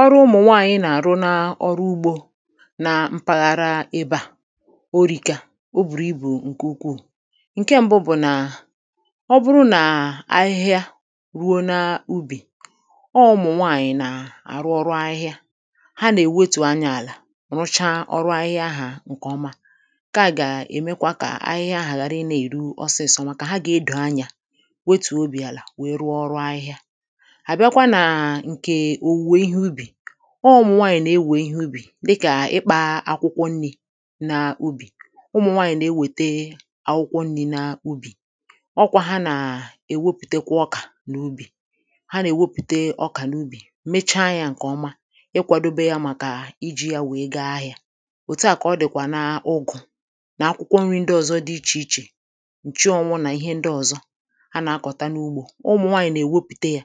Ọrụ ụmụ̀ nwaànyị nà-àrụ na ọrụ ugbō na mpaghara ebe à o rika o bùrù ibù ǹkè ukwuù ǹke m̀bụ bụ̀ nà ọ bụru nà ahịhịa ruo na ubì ọ̄ ụmụ̀ nwaànyì nà àrụ ọrụ ahịhịa ha nà-èwetù anyā àlà rụcha ọrụ ahịhịa ahà ǹkè ọma ǹke à gà-èmekwa kà ahịhịa ahà ghàra ịnā-èru osiso màkà ha gà-edò anyā wetùò obì àlà wee rụọ ọrụ ahịhịa àbịakwa nà ǹkè òwùwè ihe ubì ō ụmụ̀ nwaànyì nà-ewè ihe ubì dịkà ịkpā akwụkwọ nnī na ubì ụmụ̀ nwaànyì nà-ewète akwụkwọ nnī na ubì ọ kwā ha nà èwepụ̀tekwa ọkà n’ubì ha nà-èwepụte ọkà n’ubì mecha nyā ǹkè ọma ịkwādobe ya màkà ijī ya wee ga ahị̄a òtuà kà ọ dị̀kwà na ugū na akwụkwọ nrī ndị ọ̀zọ dị ichè ichè ǹchụọnwụ nà ihe ndị ọ̀zọ anà-akọ̀ta n’ugbō ụmụ̀ nwaànyì nà-èwepụ̀te yā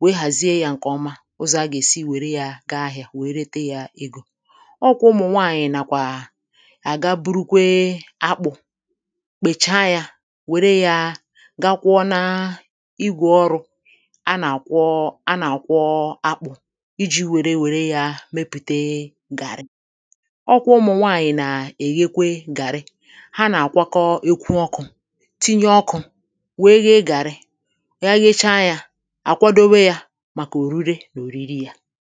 wee hàzie yā ǹkè ọma ụzọ̀ agà-èsi wère yā ga ahị̄a wee rete yā egō ọ kwà ụmụ̀ nwaànyì nàkwà àga burukwe akpụ̄ kpècha nyā wère yā ga kwọ na igwè ọrụ̄ anà-àkwọ anà-àkwọ akpụ̄ ijī wère wère yā mepụ̀te gàrị ọ kwà ụmụ̀ nwaànyì nà èghekwe gàrị ha nà àkwakọ eku ọkụ̄ tinye ọkụ̄ wee ghe gàrị ga ghecha nyā àkwadowe yā màkà òrure nà òriri yā